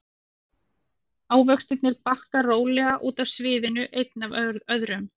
Ávextirnir bakka rólega út af sviðinu einn af öðrum.